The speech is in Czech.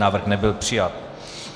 Návrh nebyl přijat.